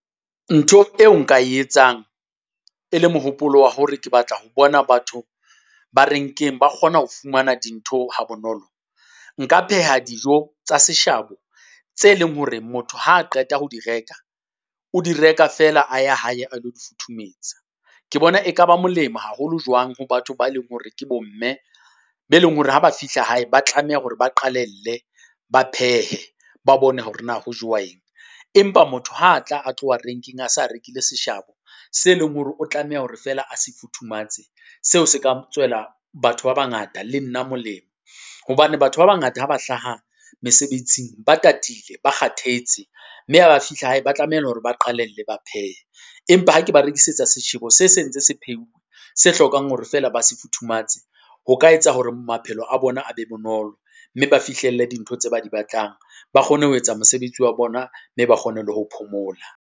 Ntho eo nka e etsang, e le mohopolo wa hore ke batla ho bona batho ba renkeng ba kgona ho fumana dintho ha bonolo. Nka pheha dijo tsa seshabo tse leng hore motho ha qeta ho di reka, o di reka feela a ya hae a lo di futhumetsa. Ke bona e ka ba molemo haholo jwang ho batho ba leng hore ke bo mme be leng hore ha ba fihla hae ba tlameha hore ba qalelle, ba phehe, ba bone hore na ho jowa eng. Empa motho ha atla tloha renkeng a sa rekile seshabo, se leng hore o tlameha hore feela a se futhumatse, seo se ka tswela batho ba bangata le nna molemo. Hobane batho ba bangata ha ba hlaha mesebetsing ba tatile, ba kgathetse, mme ha ba fihla hae ba tlameha hore ba qalelle ba phehe. Empa ha ke ba rekisetsa seshebo se sentse se pheuwe, se hlokang hore feela ba se futhumatse. Ho ka etsa hore maphelo a bona a be bonolo, mme ba fihlelle dintho tse ba di batlang. Ba kgone ho etsa mosebetsi wa bona, mme ba kgone le ho phomola.